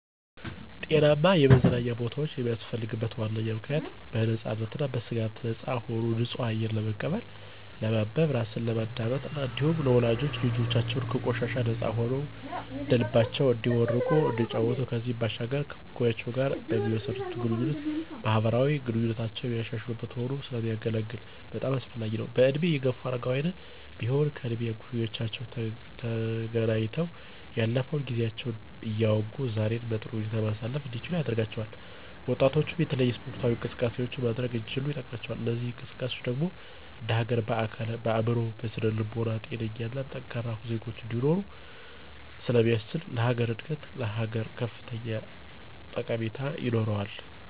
ጤናማ የመዝናኛ ቦታወች የሚያስፈልግበት ዋነኛ ምክንያት .በነፃነትና ከስጋት ነፃ ሆኖ ንፁህ አየር ለመቀበል፣ ለማንበብ፣ ራስን ለማዳመጥ እና እንዲሁም ወላጆች ልጆቻቸው ከቆሻሻ ነፃ ሆነዉ እንደልባቸው እንዲቦርቁ እና እንዲጫወቱ ከዚህም ባሻገር ከእኩዮቻቸው ጋር በሚመሰርቱት ግንኙነት ማህበራዊ ግንኙነታቸውን የሚያሻሽሉበት ሆኖ ስለሚያገለግል በጣም አስፈላጊ ነው። በእድሜ የገፉ አረጋውያንም ቢሆን ከእድሜ እኩዮቻቸው ተገናኝተው ያለፈውን ጊዜያቸውን እያወጉ ዛሬን በጥሩ ቦታ ላይ ማሳለፍ እንዲችሉ ያደርጋቸዋል። ወጣቶችም የተለያዩ ስፖርታዊ እንቅስቃሴዎችን ማድረግ እንዲችሉ ይጠቅማቸዋል። እነዚህ እንቅስቃሴዎች ደግሞ እንደሀገር በአካል፣ በአእምሮ እና በስነ ልቦና ጤነኛና ጠንካራ ዜጎች እንዲኖሮ ስለሚያስችል ለሀገር እድገት ላሀገር እድገት ከፍተኛ ጠቀሜታ ይኖረዋል።